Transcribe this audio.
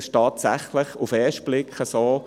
Es ist tatsächlich so: